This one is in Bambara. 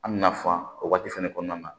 An bɛna fan o waati fɛnɛ kɔnɔna na